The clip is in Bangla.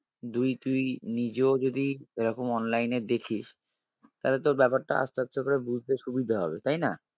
দুই তুই নিজেও যদি এরকম online এ দেখিস তালে তোর ব্যাপারটা আসতে আসতে তোর বুঝতে সুবিধা হবে তাই না?